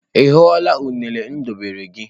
Ị hụla unere m debere gị?